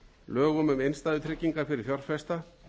lögum um innstæðutryggingar fyrir fjárfesta